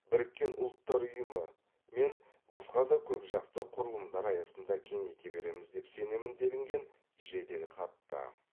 біріккен ұлттар ұйымы мен басқа да көпжақты құрылымдар аясында кеңейте береміз деп сенемін делінген жеделхатта